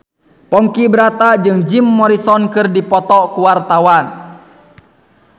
Ponky Brata jeung Jim Morrison keur dipoto ku wartawan